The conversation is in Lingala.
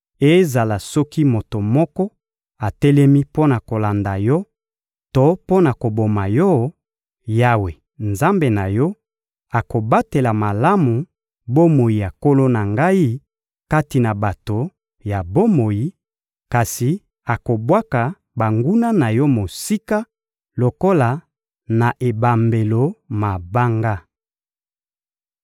Ezala soki moto moko atelemi mpo na kolanda yo to mpo na koboma yo, Yawe, Nzambe na yo, akobatela malamu bomoi ya nkolo na ngai kati na bato ya bomoi, kasi akobwaka banguna na yo mosika lokola na ebambelo mabanga.